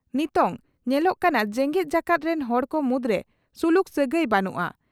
ᱱᱤᱛᱚᱝ ᱧᱮᱞᱚᱜ ᱠᱟᱱᱟ, ᱡᱮᱜᱮᱛ ᱡᱟᱠᱟᱛ ᱨᱤᱱ ᱦᱚᱲ ᱠᱚ ᱢᱩᱫᱽᱨᱮ ᱥᱩᱞᱩᱠ ᱥᱟᱹᱜᱟᱹᱭ ᱵᱟᱹᱱᱩᱜᱼᱟ ᱾